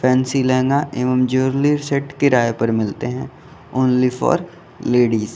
Fancy lehenga एवं jewellery set किराए पर मिलते हैं ओन्ली फॉर लेडिज ।